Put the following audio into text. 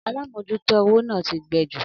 Alámòjútó owó náà ti gbẹ ju